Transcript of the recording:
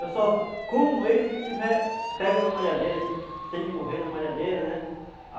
Eu só como ele se ele estiver pego na malhadeira, se ele se ele morrer na malhadeira, né?